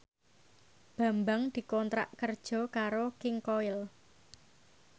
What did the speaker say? Bambang dikontrak kerja karo King Koil